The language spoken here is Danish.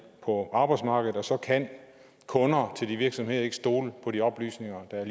på arbejdsmarkedet og så kan kunder til de virksomheder ikke stole på de oplysninger der